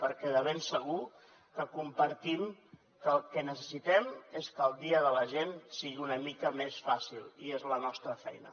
perquè de ben segur que compartim que el que necessitem és que el dia de la gent sigui una mica més fàcil i és la nostra feina